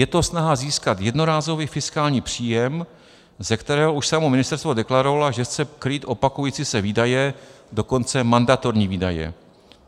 Je to snaha získat jednorázový fiskální příjem, ze kterého už samo ministerstvo deklarovalo, že chce krýt opakující se výdaje, dokonce mandatorní výdaje.